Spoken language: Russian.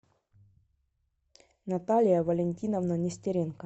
наталья валентиновна нестеренко